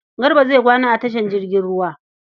Garba zai kwana a tashar jirgin ruwa.